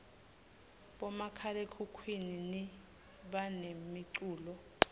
bomakhalekhhukhwini banemicculo